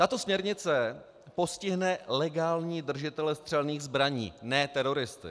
Tato směrnice postihne legální držitele střelných zbraní, ne teroristy.